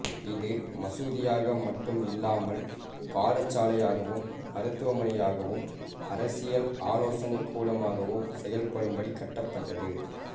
இது மசூதியாக மட்டும் இல்லாமல் பாடசாலையாகவும் மருத்துவமனையாகவும் அரசியல் ஆலோசனை கூடமாகவும் செயல்படும்படி கட்டப்பட்டது